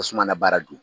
Tasuma na baara dun